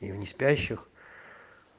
и у неспящих